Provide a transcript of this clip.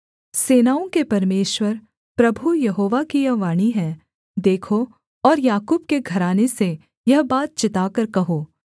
सेनाओं के परमेश्वर प्रभु यहोवा की यह वाणी है देखो और याकूब के घराने से यह बात चिताकर कहो